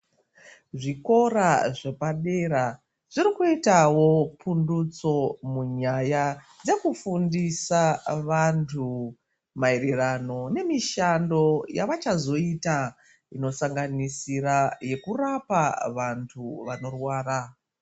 Zvikora zvepadera zvirikuitawo pundutso munyaya dzekufundisa vantu maererano nemishando yavachazoita inosanganisira yekurapa vantu vanorwara